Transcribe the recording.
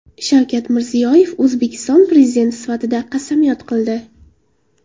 Shavkat Mirziyoyev O‘zbekiston Prezidenti sifatida qasamyod qildi.